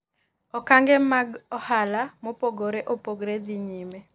okange mag ohala mopogre opogre dhi nyime